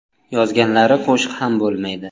Yozganlari qo‘shiq ham bo‘lmaydi.